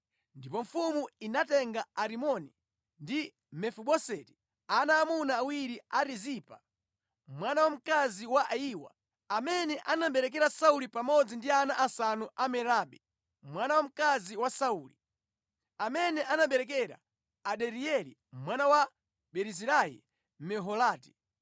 Ndipo mfumu inatenga Arimoni ndi Mefiboseti, ana aamuna awiri a Rizipa, mwana wamkazi wa Ayiwa, amene anaberekera Sauli pamodzi ndi ana asanu a Merabi mwana wamkazi wa Sauli, amene anabereka Adirieli mwana wa Barizilai Mmeholati.